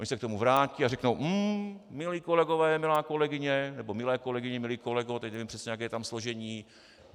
Oni se k tomu vrátí a řeknou: Hm, milí kolegové, milá kolegyně nebo milé kolegyně, milý kolego, teď nevím přesně, jaké je tam složení.